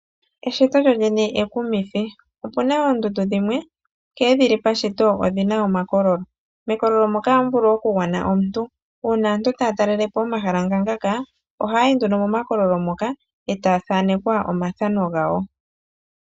Eshito lyo lyene ekumithi, opuna oondundu dhimwe nkene dhili pashito odhina omakololo, mekololo moka ohamu vulu oku gwana omuntu. Uuna aantu taya talelepo omahala nga ngaka, oha yayi nduno momakololo moka eta ya thanekwa omathano gawo.